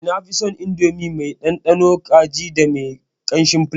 Eh, nafison Indomie mai dandanon kaji da me kanshin fulebo.